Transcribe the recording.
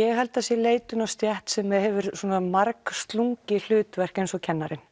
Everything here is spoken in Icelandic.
ég held að það sé leitun að stétt sem hefur svona margslungið hlutverk eins og kennarinn